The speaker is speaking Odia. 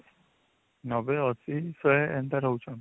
୯୦ ୮୦ ୧୦୦ ଏନ୍ତା ରହୁଛନ